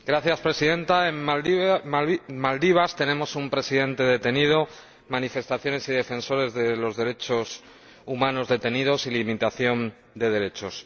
Señora Presidenta, en Maldivas tenemos un presidente detenido, manifestaciones y defensores de los derechos humanos detenidos y limitación de derechos.